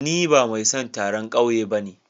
Ni ba mai son taron kauye bane.